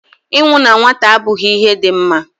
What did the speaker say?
Ịnwụ na nwata abụghị ihe dị mma